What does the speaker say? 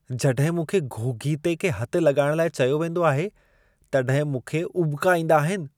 जॾहिं मूंखे घोघीते खे हथु लॻाइण लाइ चयो वेंदो आहे, तॾहिं मूंखे उॿिका ईंदा आहिनि।